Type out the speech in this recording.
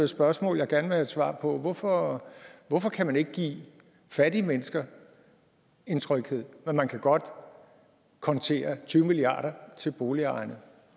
spørgsmål jeg gerne et svar på hvorfor hvorfor kan man ikke give fattige mennesker en tryghed men man kan godt kontere tyve milliard kroner til boligejerne